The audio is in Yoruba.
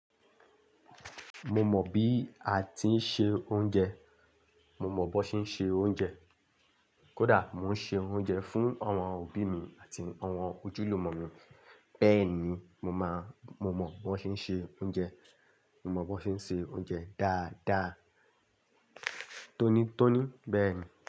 Mo mọ bi a ti n ṣe ounjẹ, mo mọ bo ṣe n ṣe ounjẹ. Koda, mo n ṣe ounjẹ fun awọn obi mi ati awọn ojúlùmò mi. Bẹẹni, mo maa, mo mọ bi wọn ṣe n ṣe ounjẹ, mo mọ bi wọn ṣe n ṣe ounjẹ dáadáa. Tónítóní bẹẹni.